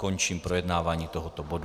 Končím projednávání toho bodu.